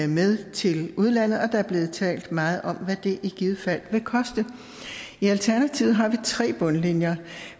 med til udlandet og der er blevet talt meget om hvad det i givet fald vil koste i alternativet har vi tre bundlinjer